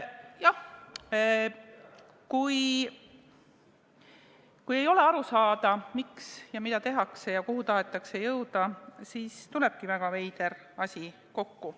Jah, kui ei ole aru saada, miks ja mida tehakse ja kuhu tahetakse jõuda, siis tulebki väga veider asi kokku.